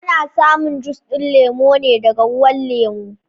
Ana samin juss din lemo ne daga ruwan lemo.